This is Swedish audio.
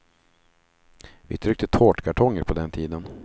Vi tryckte tårtkartonger på den tiden.